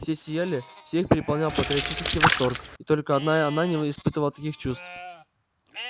все сияли всех переполнял патриотический восторг и только одна она не испытывала таких чувств